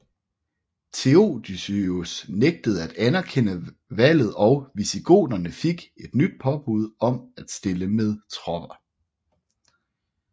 Theodosius nægtede at anerkende valget og visigoterne fik et nyt påbud om at stille med tropper